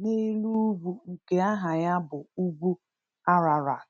n’elu ugwu nke aha ya bụ Ugwu Ararat.